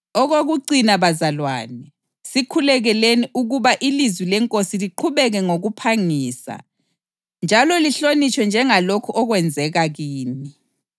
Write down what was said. Okokucina bazalwane, sikhulekeleni ukuba ilizwi leNkosi liqhubeke ngokuphangisa njalo lihlonitshwe njengalokhu okwenzeka kini.